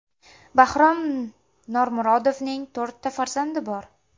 Bahrom Normurodovning to‘rtta farzandi bor.